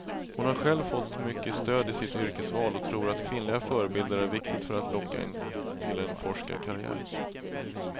Hon har själv fått mycket stöd i sitt yrkesval och tror att kvinnliga förebilder är viktigt för att locka till en forskarkarriär.